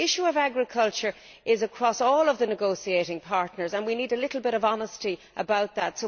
So the issue of agriculture is across all of the negotiating partners and we need a little bit of honesty about that.